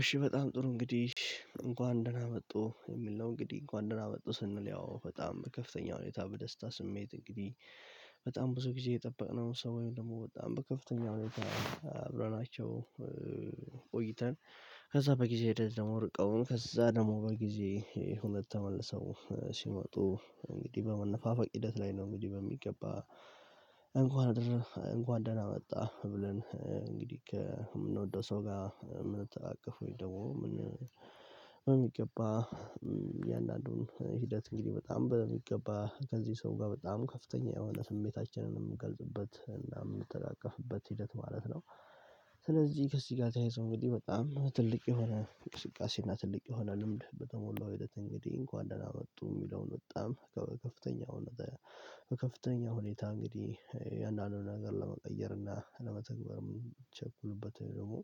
እሺ በጣም ጥሩ እንግዲህ እንኳን ደህና መጡ የሚል ነው እንግዲህ እንኳን ደህና መጡ ስንል ያው በጣም ከፍተኛ ሁኔታ በደስታ ስሜት እንግዲህ በጣም ብዙ ጊዜ የጠበቅነው ሰውን ወይም ደግሞ በጣም በከፍተኛ ሁኔታ አብረናቸው ቆይተን ከዛ በጊዜ ህደት ደግሞ ርቀውን ከዛ ደግሞ በጊዜ ሁኔታ ተመልሰው ሲመጡ እንግዲህ በመነፋፋቅ ሂደት ላይ ነው። እንግዲህ በሚገባ እንኳን ደህና መጣ ብለን እንግዲህ ከምንወደው ሰው ጋር የምንተናቀፈው ደግሞ በሚገባ እያንዳንዱን ሂደት እንግዲህ በጣም በሚገባ ከዚህ ሰው ጋር በጣም ከፍተኛ የሆነ ስሜታችንንም የሚንገልጽበት እና የምንተቃቀፍበት ሂደት ማለት ነው። ስለዚህ ከዚህ ጋር ተያይዞ እንግዲህ በጣም ትልቅ የሆነ እንቅስቃሴ እና ትልቅ የሆነ ልምድ በተሞላው ሂደት እንግዲህ እንኳን ደህና መጡ የሚለውን በጣም ከከፍተኛው ሁኔታ እንግዲህ የአንዳንዱን ነገር ለመቀየርና ለመተግበር የምቸኩልበት ወይ ደግሞ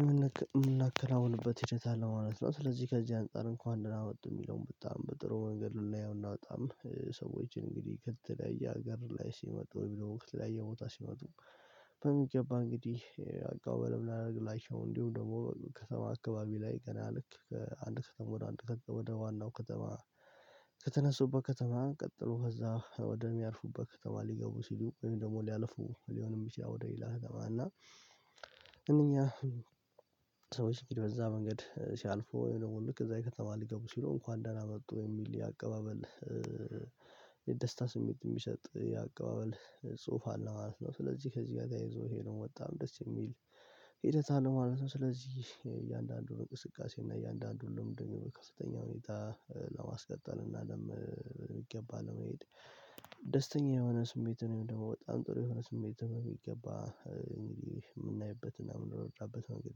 የምናከናውንበት ሄደት አለ ማለት ነው። ስለዚህ ከዚህ አንፃር እንኳን ደህና መጡ የሚለውን በጣም በጥሩ መንገድ ልናየው እና በጣም ሰዎችን እንግዲህ ከተለያየ ሀገር ላይ ሲመጡ ወይም ወይም ወይም ላይ ቦታ ሲመጡ በሚገባ እንግዲህ አቀባበል የምናረግላቸው እንዲሁም ደግሞ ከተማ አካባቢ ላይ ገና ልክ ከአንድ ከተማ ወደ አንድ ከተማ ወደ ዋናው ከተማ። ከተነሱበት ከተማ ቀጥሎ ከዛ ወደሚያርፉበት ከተማ ሊገቡ ሲሉ ወይም ደግሞ ሊያልፉ ሊሆንም ይችላል ወደ ሌላ ከተማ እና ሰዎች እንግዲህ በዛ መንገድ ሲያልፉ ወይም ደግሞ ልክ እዛ ከተማ ሊገቡ ሲሉ እንኳን ደህና መጡ የሚል የአቀባበል የደስታ ስሜት የሚሰጥ የአቀባበል ጽሁፋ አለ ማለት ነው። ስለዚህ ከዚህ ጋር ተያይዞ ይሄንን በጣም ደስ የሚል ሂደት አለ ማለት ነው። ስለዚህ እያንዳንዱ እንቅስቃሴ እና እያንዳንዱ እንደሚሆን ከፍተኛ ሁኔታ ለማስቀጠል እና በምገባ ለመሄድ ደስተኛ የሆነ ስሜትን ወይም ደግሞ በጣም ጥሩ የሆነ ስሜት የሚገባ እንግዲህ የምናይበት እና የምንረዳበት መንገድ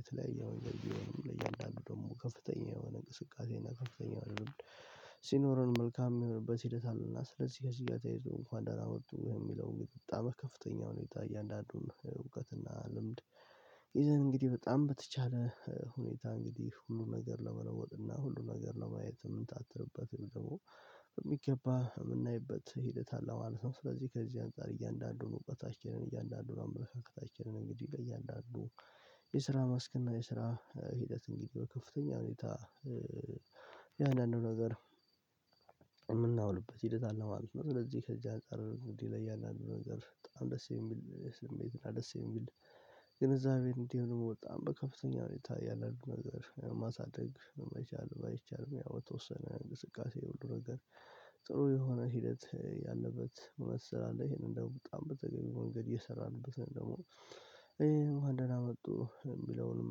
የተለያየ ብሆንም ለእያንዳንዱ ደግሞ ከፍተኛ የሆነ እንቅስቃሴ እና ከፍተኛ ሲኖረን መልካም የሚሆንበት ሂደት አለና ስለዚህ ከዚህ ጋር ተያይዘው እንኳን ደህና ወጡ የሚለው በጣም ከፍተኛ ሁኔታ እያንዳንዱን እውቀትና ልምድ ይዘን እንግዲህ በጣም በተቻለ ሁኔታ እንግዲህ ሁሉን ነገር ለመለወጥና ሁሉን ነገር ለማየት የምንታተርበት ደግሞ በሚገባ የምናይበት ሂደት አለ ማለት ነው። ስለዚህ ከዚህ አንፃር እያንዳንዱን እውቀታችንን እያንዳንዱን አመለካከታችንን እንግዲህ ለእያንዳንዱ የስራ መስክና የስራ ሂደት እንግዲህ በከፍተኛ ሁኔታ የአንዳንዱ ነገር የምናውልበት ሂደት አለ ማለት ነው። ለዚህ ከዚህ አንፃር እንግዲህ ለእያንዳንዱ ነገር በጣም ደስ የሚል ስሜት እና ደስ የሚል ግንዛቤ እንዲሁም ደግሞ በጣም በከፍተኛ ሁኔታ ያለውን ነገር ማሳደግ መቻል ባይቻልም ያው በተወሰነ እንቅስቃሴ ሁሉ ነገር ጥሩ የሆነ ሂደት ያለበት እውነት ስላለ እሄንን ደግሞ በጣም በተገኘው ወንገድ እየሰራንበት ነው። ደግሞ ይሄን እኳን ደህና መጡ የሚለውንም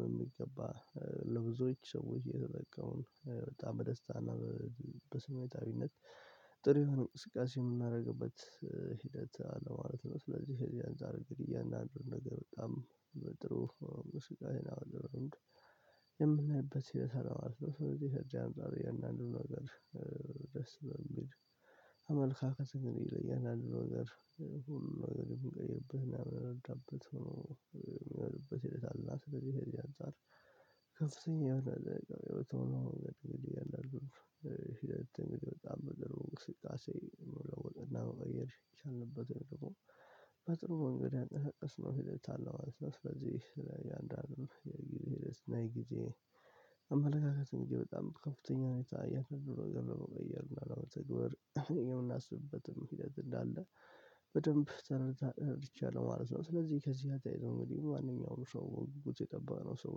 በሚገባ ለብዙዎች ሰዎች እየተጠቀምን በጣም በደስታ እና በስሜታዊነት ጥሩ የሆነ እንስቃሴ የምናደርግበት ሂደት አለ ማለት ነው። ስለዚህ ከዚህ አንፃር አያንዳንዱን ነገር በጣም በጥሩ ስጋዬን አውርድ የምናይበት ሲል ሰላም አልነበረም ስለዚህ የተጨማሪ አንዳንድ አንዱ ነገር ደስ በሚል አመልካከት እንግዲህ ለእያንዳንዱ ነገር ሁሉንም ነገር የምንቀይርበት እና የምንረዳበት ሆኖ የሚሆንበት ሂደት አለና። ስለዚህ ከዚህ አንፃር ከፍተኛ የሆነ ደጋግሞ የሆነ እንግዲህ የለም ሽለት በጣም በደረጃ ስቃሴ የሚለወጥና በገደል የቻልንበትን ደግሞ በጥሩ እንግዲህ አጠቃቀስ ነው ሂደት አለው ማለት ነው። ስለዚህ ያንዳንዱ የጊብ የጊዜ አመለካከት እንግዲህ በጣም ከፍተኛ ሆነታ የተወሰነ ነገር በመቀየር ነው በተግባር የምናስብበትም ሂደት እንዳለ በደንብ ተረደቻለሁ ማለት ነው። ስለዚህ ከዚህ ጋር ተያታይዘው እንግዲህ ማንኛውም ሰው በጉጉት የጠበቅነው ሰው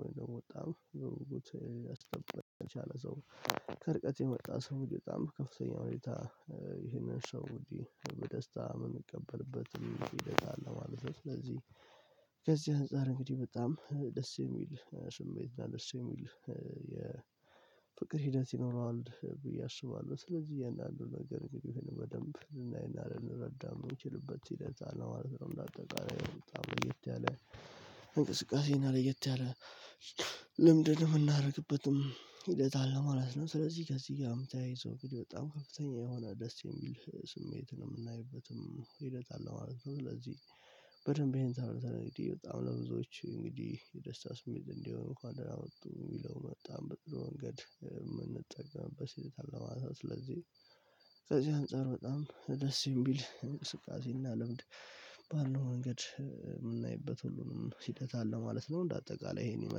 ወይም ደግም ያስጠብቀኝ የቻለ ሰው ከርቀት የመጣ ሰው ወዲያው በጣም ከፍተኛ ሁኔታ ይህንን ሰው እንግዲህ በደስታ የምንቀበልበት ህደት አለ ማለት ነው። ስለዚህ ከዚህ አንፃር እንግዲህ በጣም ደስ የሚል ስሜት እና ደስ የሚል የፍቅር ሂደት ይኖረዋል ብዬ አስባለሁ። ስለዚህ እያንዳንዱን ነገር እንግዲህ እሄንን በደንብ ልናይና ልንረዳ የምንችልበት ህደት አለ ማለት ነው። እንዳጠቃላይ በጣም ለየት ያለ እንቅስቃሴ እና ለየት ያለ ልምድን የምናደርግበትም ሂደት አለ ማለት ነው። ስለዚህ ከዚህ ጋርም ተያይዞ እንግድህ በጣም ከፍተኛ የሆነ ደስ የሚል ስሜትን የምናይበትም ሂደት አለ ማለት ነው። ስለዚህ በደንብ ይሄን ተረድተን እንግዲህ በጣም ለብዙዎች እንግዲህ የደስታ ስሜት እንዲሆን እንኳን ደህና ወጡ የሚለው በጣም በጥሩ ወንገድ የምንጠቀምበት ህደት አለ ማለት ነው። ስለዚህ ከዚህ አንፃር በጣም ደስ የሚል እንቅስቃሴ እና ልምድ ባለው መንገድ የምናይበት ሁሉንም ሂደት አለ ማለት ነው። እንደ አጠቃላይ ይሄን ይመስላል